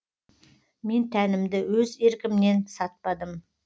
мен тәнімді өз еркімнен сатпадым